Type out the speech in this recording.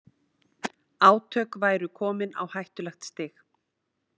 Átök væru komin á hættulegt stig